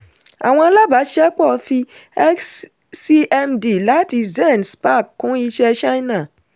àwọn alábàáṣiṣẹ́pọ̀ fi xcmd àti zen spark kún iṣẹ́ china.